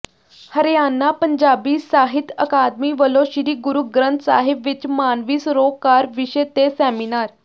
ਹਰਿਆਣਾ ਪੰਜਾਬੀ ਸਾਹਿਤ ਅਕਾਦਮੀ ਵੱਲੋਂ ਸ੍ਰੀ ਗੁਰੂ ਗ੍ਰੰਥ ਸਾਹਿਬ ਵਿਚ ਮਾਨਵੀ ਸਰੋਕਾਰ ਵਿਸ਼ੇ ਤੇ ਸੈਮੀਨਾਰ